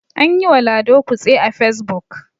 an yiwa lado kutse a fesbuk